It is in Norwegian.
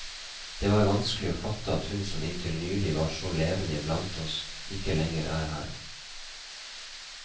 Det var vanskelig å fatte at hun som inntil nylig var så levende iblant oss, ikke lenger er her.